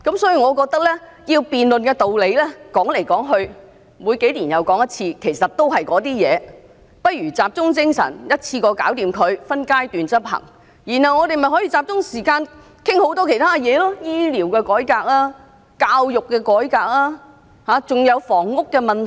所以，我認為要辯論的道理每隔數年又再提出，說來說去其實都是那些內容，不如集中精神把它一次做好，再分階段執行，然後我們便可以集中時間討論其他事項，例如醫療改革、教育改革和房屋問題等。